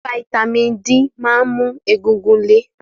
Fataímìn D máa ń mú egungun le.